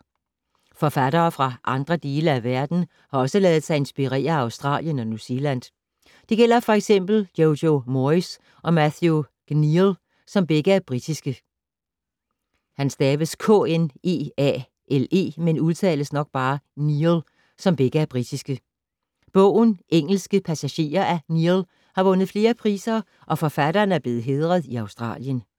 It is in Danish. Forfattere fra andre dele af verden har også ladet sig inspirere af Australien og New Zealand. Det gælder for eksempel Jojo Moyes og Matthew Kneale, som begge er britiske. Bogen Engelske passagerer af Kneale har vundet flere priser og forfatteren er blevet hædret i Australien.